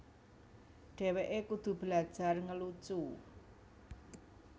Dheweké kudu belajar ngelucu